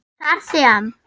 Þar sem